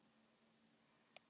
Hann hafði gefið Jóru hvolpinn.